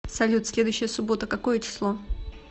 салют следующая суббота какое число